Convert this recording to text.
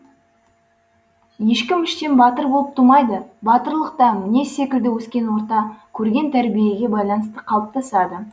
ешкім іштен батыр болып тумайды батырлық та мінез секілді өскен орта көрген тәрбиеге байланысты қалыптасады